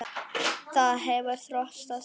Það hefur þróast þannig.